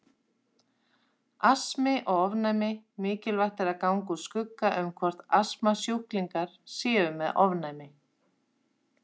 Astmi og ofnæmi Mikilvægt er að ganga úr skugga um hvort astmasjúklingar séu með ofnæmi.